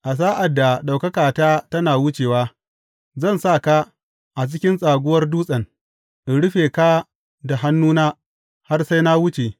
A sa’ad da ɗaukakata tana wucewa, zan sa ka a cikin tsaguwar dutsen, in rufe ka da hannuna har sai na wuce.